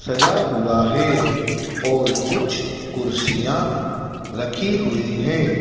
सजा हुआ है और कुछ कुर्सियां रखी हुई हैं।